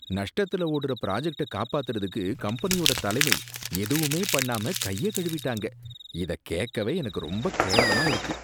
நஷ்டத்துல ஓடுற பிராஜக்ட்ட காப்பாத்தறதுக்கு கம்பெனியோட தலைமை எதுவுமே பண்ணாம கைய கழுவிட்டாங்க, இத கேக்கவே எனக்கு ரொம்ப கேவலமா இருக்கு.